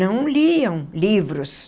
Não liam livros.